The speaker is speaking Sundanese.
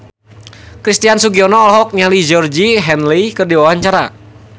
Christian Sugiono olohok ningali Georgie Henley keur diwawancara